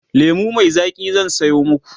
lemu Mai Zaki zan Sayo maku